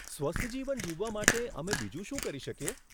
સ્વસ્થ જીવન જીવવા માટે અમે બીજું શું કરી શકીએ?